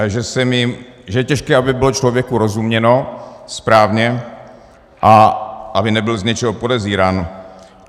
A že je těžké, aby bylo člověku rozuměno správně a aby nebyl z něčeho podezírán.